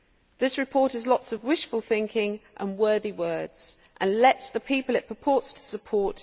This report has lots of wishful thinking and worthy words, and lets down the people it purports to support.